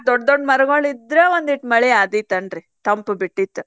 ಎಲ್ಲಾ ದೊಡ್ಡ್ ದೊಡ್ಡ್ ಮರ್ಗೋಳಿದ್ರ್ ಒಂದೀಟ ಮಳಿ ಆದಿತಂದ್ರಿ ತಂಪ್ ಬಿಟ್ಟಿತ್.